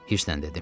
Hirsləndim.